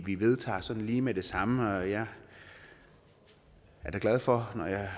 vi vedtager sådan lige med det samme og jeg er da glad for når jeg